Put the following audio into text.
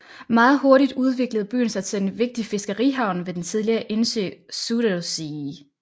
Meget hurtigt udviklede byen sig til en vigtig fiskerihavn ved den tidligere indsø Zuiderzee